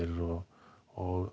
og og